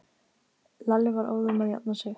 Lalli var óðum að jafna sig.